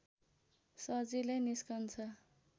सजिलै निस्कन्छ